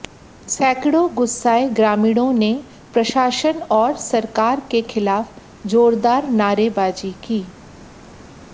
सैकड़ों गुस्साए ग्रामीणों ने प्रशासन और सरकार के खिलाफ जोरदार नारेबाजी की